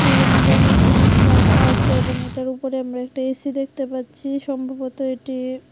বিভিন্ন ধরনের জিনিস রাখা আছে এবং এটার উপরে আমার একটা এ_সি দেখতে পাচ্ছি সম্ভবত এটি--